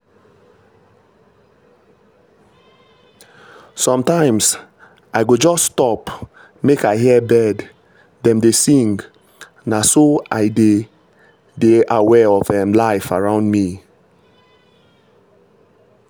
sometimes i go just stop make i hear bird dem dey sing — na so i dey dey aware of um life around me.